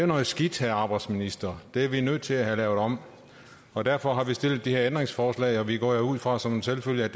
noget skidt herre arbejdsminister det er vi nødt til at have lavet om og derfor har vi stillet det her ændringsforslag og vi går ud fra som en selvfølge at